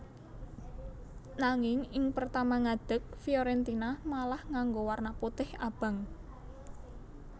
Nanging ing pertama ngadeg Fiorentina malah nganggo warna putih abang